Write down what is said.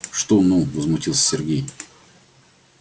что ну возмутился сергей